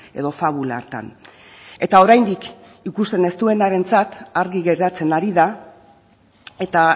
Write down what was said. edo fabula hartan eta oraindik ikusten ez duenarentzat argi geratzen ari da eta